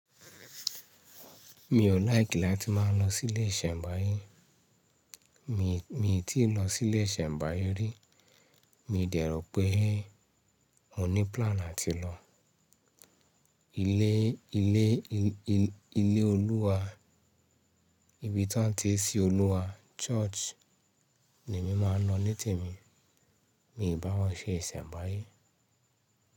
Mi ò like láti máa lọ sí ilé ìsẹ̀mbáyé. Mi, mi tíì lọ sí ilé ìsẹ̀mbáyé rí. Mi dẹ̀rọ̀ pé mo ní plan láti lọ. Ilé, ilé, ilé, ilé Olúwa, ibi tí wọ́n ti ń sìn Olúwa, church ni mí máa ń lọ nítì mí. Mi ìbá wọn ṣe ìsẹ̀mbáyé.